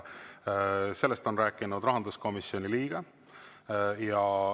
Sellest on rääkinud rahanduskomisjoni liige.